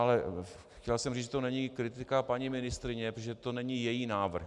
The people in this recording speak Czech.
Ale chtěl jsem říct, že to není kritika paní ministryně, protože to není její návrh.